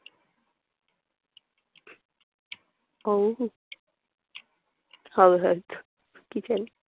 হাওয়া খাদ্য। কি চাই?